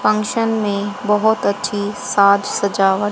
function में बहोत अच्छी साज सजावट--